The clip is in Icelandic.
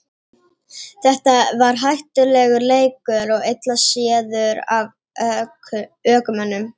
þetta var hættulegur leikur og illa séður af ökumönnum